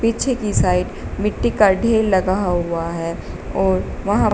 पीछे की साइड मिट्टी का ढेर लगा हुआ है और वहां--